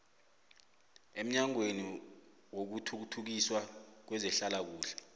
emnyangweni wokuthuthukiswa kwezehlalakuhle